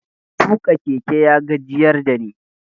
Tuƙa keke ya gajiyar da ni.